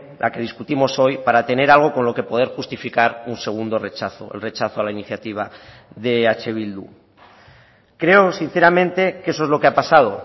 la que discutimos hoy para tener algo con lo que poder justificar un segundo rechazo el rechazo a la iniciativa de eh bildu creo sinceramente que eso es lo que ha pasado